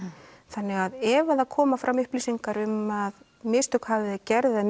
þannig ef það koma fram upplýsingar um mistök hafi verið gerð eða